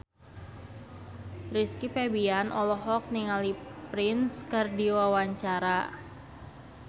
Rizky Febian olohok ningali Prince keur diwawancara